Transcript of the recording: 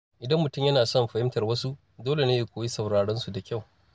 Idan mutum yana son fahimtar wasu, dole ne ya koyi sauraron su da kyau.